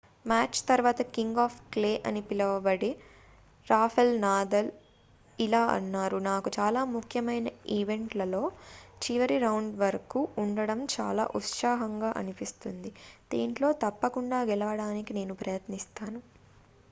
match తర్వాత king of clay అని పిలవబడే రాఫెల్ నాదల్ ఇలా అన్నారు నాకు చాలా ముఖ్యమైన ఈవెంట్లలో చివరి రౌండ్ వరకు ఉండడం చాలా ఉత్సాహంగా అనిపిస్తుంది దీంట్లో తప్పకుండా గెలవడానికి నేను ప్రయత్నిస్తాను